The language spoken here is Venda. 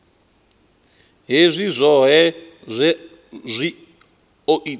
hezwi zwohe zwi o ita